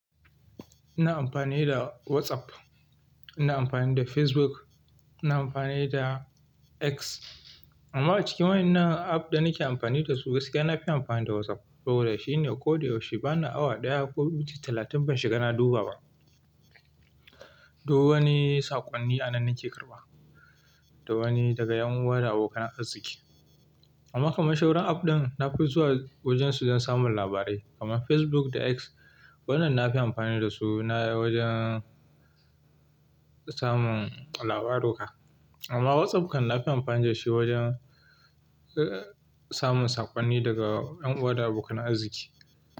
Ina amfani da WhatsApp, ina amfani da Facebook, ina amfani da X. Amma a cikin waƴannan apps da nake amfani dasu gaskiya nafi amfani da WhatsApp. Sabida shine koda yaushe bana awa ɗaya ko minti talatin ban shiga na duba ba. Duk wani saƙonni anan nake karɓa, da wani daga ƴan uwa da abokan arziki. Amma kamar shauran apps ɗin nafi zuwa wajen su dan samun labarai kamar Facebook da X. Wannan nafi amfani dasu na wajen samun labaruka. Amma WhatsApp kan nafi amfani da shi wajen, eh, samun saƙonni daga ƴan uwa da abokan arziki.